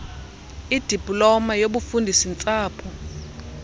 idiploma yobufundisi ntsapho